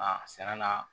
Aa sɛnɛ na